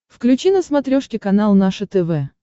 включи на смотрешке канал наше тв